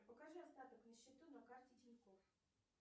покажи остаток на счету на карте тинькофф